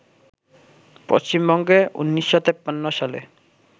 পশ্চিমবঙ্গে ১৯৫৩ সালে